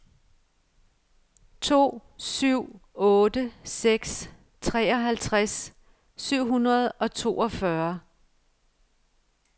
to syv otte seks treoghalvtreds syv hundrede og toogfyrre